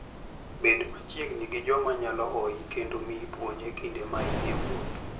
Bed machiegni gi joma nyalo hoyi kendo miyi puonj e kinde ma in e wuoth.